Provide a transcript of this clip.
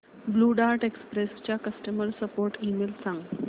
blue dart express चा customer support email सांग